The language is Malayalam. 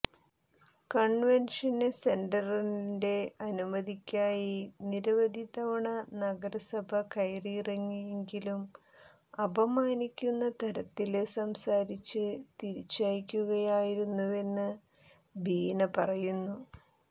കണ്വെന്ഷന് സെന്ററിന്റെ അനുമതിക്കായി നിരവധി തവണ നഗരസഭ കയറിയിറങ്ങിയെങ്കിലും അപമാനിക്കുന്ന തരത്തില് സംസാരിച്ച് തിരിച്ചയക്കുകയായിരുന്നുവെന്ന് ബീന പറയുന്നു